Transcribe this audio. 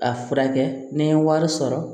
A furakɛ ni n ye wari sɔrɔ